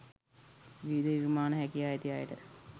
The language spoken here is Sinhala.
විවිධ නිර්මාණ හැකියා ඇති අයට